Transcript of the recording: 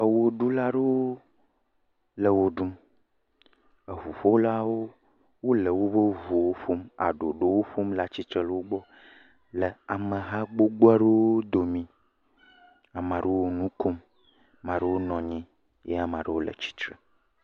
Wɔɖula aɖewo le wɔɖum ʋuƒolawo le woƒe ʋuwo ƒom le ɖoɖowo ƒom le atitre le wogbɔ ameha gbogbo aɖewo domi ame aɖewo nu kom ame aɖewo nɔ anyi ame aɖewo le itre